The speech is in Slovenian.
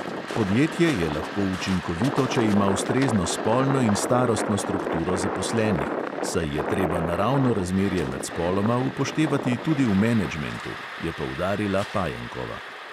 Podjetje je lahko učinkovito, če ima ustrezno spolno in starostno strukturo zaposlenih, saj je treba naravno razmerje med spoloma upoštevati tudi v menedžmentu, je poudarila pajenkova.